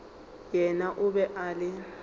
yena o be a le